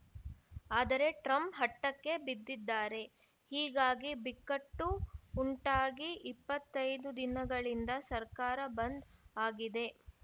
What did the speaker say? ಆದರೆ ಟ್ರಂಪ್‌ ಹಟಕ್ಕೆ ಬಿದ್ದಿದ್ದಾರೆ ಹೀಗಾಗಿ ಬಿಕ್ಕಟ್ಟು ಉಂಟಾಗಿ ಇಪ್ಪತ್ತ್ ಐದು ದಿನಗಳಿಂದ ಸರ್ಕಾರ ಬಂದ್‌ ಆಗಿದೆ